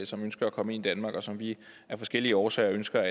som ønsker at komme ind i danmark og som vi af forskellige årsager ønsker